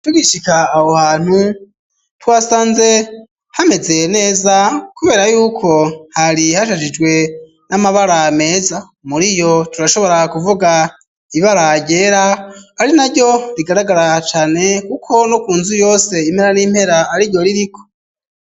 Tugishika aho hantu twasanze hamezeye neza kubera yuko hari hashajijwe n'amabara meza muriyo turashobora kuvuga ibara ryera ari naryo rigaragara cane kuko no kunzu yose impera n'impera ari ryo ririko.